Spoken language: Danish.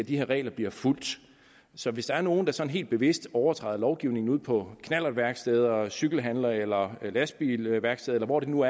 de her regler bliver fulgt så hvis der er nogen der sådan helt bevidst overtræder lovgivningen ude på knallertværksteder og hos cykelhandlere eller på lastbilværksteder eller hvor det nu